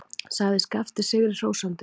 sagði Skapti sigri hrósandi.